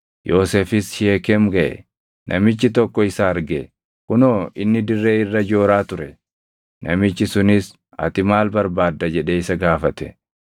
namichi tokko isa arge; kunoo inni dirree irra jooraa ture; namichi sunis, “Ati maal barbaadda?” jedhee isa gaafate.